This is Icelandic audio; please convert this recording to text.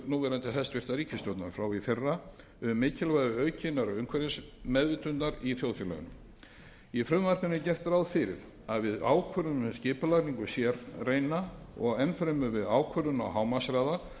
núverandi hæstvirtrar ríkisstjórnar frá því í fyrra um mikilvægi aukinnar umhverfisvitundar í þjóðfélaginu í frumvarpinu er gert ráð fyrir að við ákvörðun um skipulagningu sérreina og enn fremur við ákvörðun á hámarkshraða